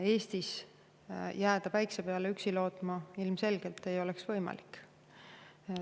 Eestis ei oleks üksi päikse peale lootma jäämine ilmselgelt võimalik.